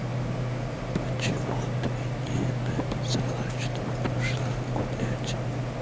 почему ты не написала что пошла гулять